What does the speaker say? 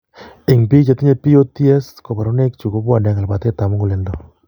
Eng' biik chetinye POTS kaborunoik chu kobwone ak labatete ab muguleldo